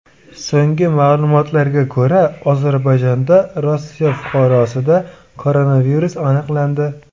So‘nggi ma’lumotlarga ko‘ra, Ozarbayjonda Rossiya fuqarosida koronavirus aniqlandi.